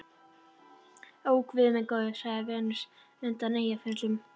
Ó, guð minn góður, sagði Venus undan Eyjafjöllum.